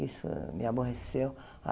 Isso me aborreceu.